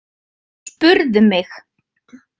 Spurðu mig.